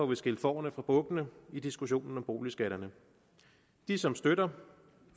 vi skilt fårene fra bukkene i diskussionen om boligskatterne de som støtter